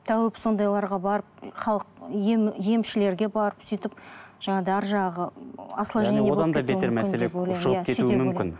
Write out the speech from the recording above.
тәуіп сондайларға барып халық емшілерге барып сөйтіп жаңағыдай арғы жағы осложнение